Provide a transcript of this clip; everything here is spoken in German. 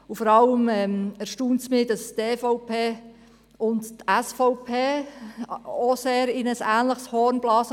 Vor allem erstaunt mich, dass die SVP diesmal auch in ein ähnliches Horn bläst.